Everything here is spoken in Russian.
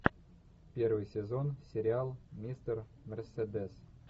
первый сезон сериал мистер мерседес